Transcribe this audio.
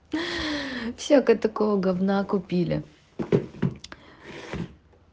всякого такого гавна купили